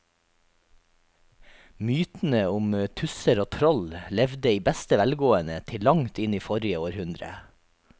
Mytene om tusser og troll levde i beste velgående til langt inn i forrige århundre.